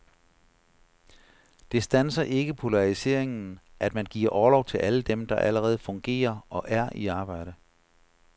Det standser ikke polariseringen, at man giver orlov til alle dem, der allerede fungerer og er i arbejde.